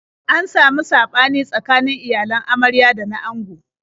An samu saɓani tsakanin iyalan amarya da na ango.